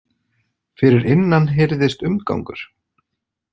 Fyrir innan heyrðist umgangur.